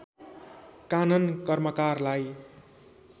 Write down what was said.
कानन कर्मकारलाई